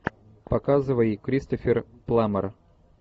показывай кристофер пламмер